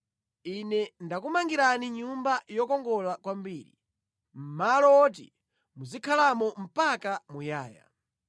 ine ndakumangirani Nyumba yokongola kwambiri, malo woti muzikhalamo mpaka muyaya.”